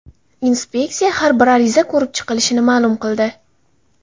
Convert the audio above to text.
Inspeksiya har bir ariza ko‘rib chiqilishini ma’lum qildi.